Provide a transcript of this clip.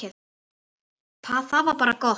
Það var bara gott.